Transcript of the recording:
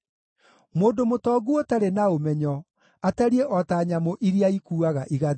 Mũndũ mũtongu ũtarĩ na ũmenyo atariĩ o ta nyamũ iria ikuuaga igathira.